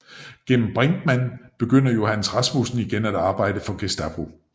Gennem Brinkmand begynder Johannes Rasmussen igen at arbejde for Gestapo